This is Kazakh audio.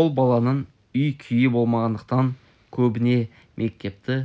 ол баланың үй-күйі болмағандықтан көбіне мектепті